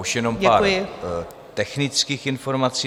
Již jen pár technických informací.